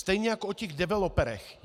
Stejně jako o těch developerech.